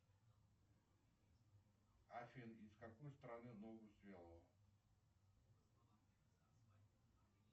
афина из какой страны ногу свело